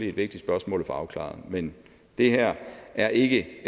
et vigtigt spørgsmål at få afklaret men det her er ikke